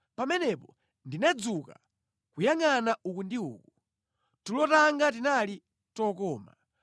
Pamenepo ndinadzuka nʼkuyangʼana uku ndi uku. Tulo tanga tinali tokoma.